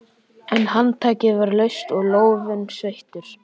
En handtakið var laust og lófinn sveittur.